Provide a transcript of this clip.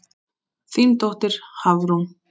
Þín dóttir, Hafrún.